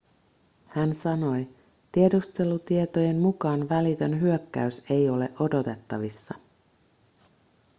hän sanoi tiedustelutietojen mukaan välitön hyökkäys ei ole odotettavissa